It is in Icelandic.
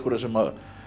sem